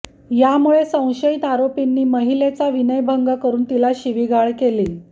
यामुळे संशयित आरोपींनी महिलेचा विनयभंग करून तिला शिवीगाळ केली